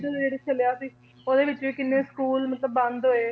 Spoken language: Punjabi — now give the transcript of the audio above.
ਜਿਹੜਾ ਚੱਲਿਆ ਸੀ ਉਹਦੇ ਵਿੱਚ ਵੀ ਕਿੰਨੇ school ਮਤਲਬ ਬੰਦ ਹੋਏ